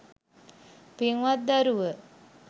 පින්වත් දරුව